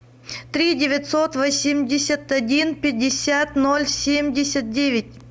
три девятьсот восемьдесят один пятьдесят ноль семьдесят девять